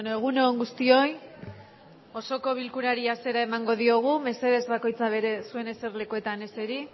egun on guztioi osoko bilkurari hasiera emango diogu mesedez bakoitza bere zuen eserlekuetan eseri